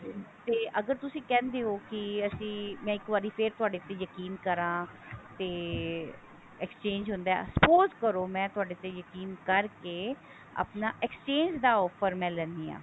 ਤੇ ਅਗਰ ਤੁਸੀਂ ਕਹਿੰਦੇ ਹੋ ਕਿ ਮੈਂ ਫੇਰ ਇੱਕ ਵਾਰੀ ਤੁਹਾਡੇ ਤੇ ਯਕੀਨ ਕਰਾ ਤੇ exchange ਹੁੰਦਾ suppose ਕਰੋ ਮੈਂ ਤੁਹਾਡੇ ਤੇ ਯਕੀਨ ਕਰਕੇ ਆਪਣਾ exchange ਦਾ offer ਮੈਂ ਲੈਂਦੀ ਹਾਂ